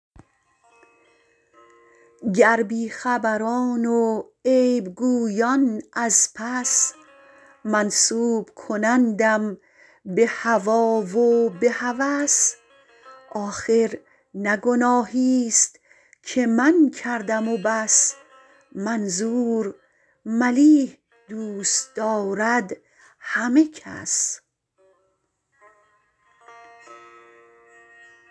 گر بیخبران و عیبگویان از پس منسوب کنندم به هوی و به هوس آخر نه گناهیست که من کردم و بس منظور ملیح دوست دارد همه کس